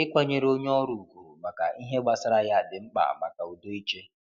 Ikwanyere onye ọrụ ugwu maka ihe gbasara ya di mkpa maka udo ịchị.